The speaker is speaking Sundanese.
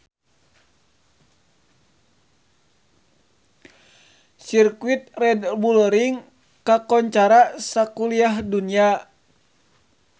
Sirkuit Red Bull Ring kakoncara sakuliah dunya